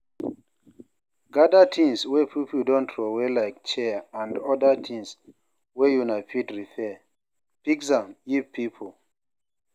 Gather things wey pipo don trowey like chair and oda thing wey una fit repair, fix am give pipo